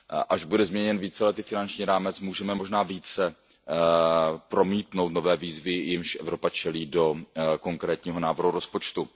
Až bude změněn víceletý finanční rámec, můžeme možná více promítnout nové výzvy, jimž Evropa čelí, do konkrétního návrhu rozpočtu.